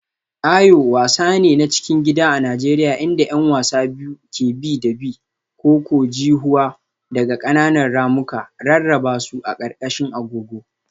Ayo wasa ne na cikin gida a Najeriya inda 'yan wasa biyu ke bi da bi. -ko-ko-ji-huwa daga ƙananan ramuka, rarraba su a ƙarƙashin agogo.